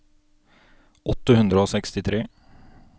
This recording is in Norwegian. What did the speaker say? åtte hundre og sekstitre